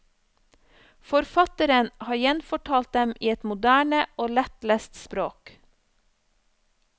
Forfatteren har gjenfortalt dem i et moderne og lettlest språk.